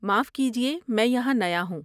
معاف کیجیے، میں یہاں نیا ہوں۔